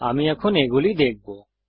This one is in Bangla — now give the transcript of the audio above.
আমরা এখন এগুলি দেখবো